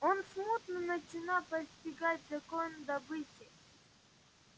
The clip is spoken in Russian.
он смутно начинал постигать закон добычи